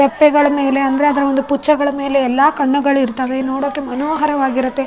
ತೊಪ್ಪೆಗಳ ಮೇಲೆ ಅಂದ್ರೆ ಅದ್ರ ಒಂದು ಪುಚ್ಚೆಗಳ ಮೇಲೆ ಎಲ್ಲ ಕಣ್ಣುಗಳು ಇರ್ತಾವೆ ನೋಡೋಕೆ ಮನೋಹರವಾಗಿರುತ್ತೆ.